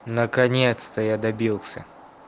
наконец-то я добился